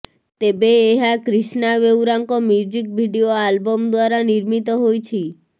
ତେବେ ଏହା କ୍ରିଷ୍ଣା ବେଉରାଙ୍କ ମ୍ୟୁଜିକ ଭିଡିଓ ଆଲବମ ଦ୍ୱାରା ନିର୍ମିତ ହୋଇଛି